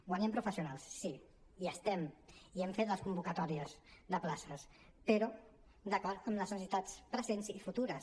guanyem professionals sí i estem i hem fet les convocatòries de places però d’acord amb les necessitats presents i futures